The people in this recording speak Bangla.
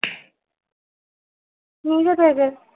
নিজে থেকে